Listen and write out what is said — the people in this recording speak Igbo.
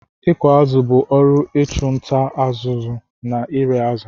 Ịkụ azụ̀ bụ ọrụ ịchụ nta, ọzụzụ na ire azụ̀.